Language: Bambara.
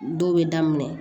Dɔw bɛ daminɛ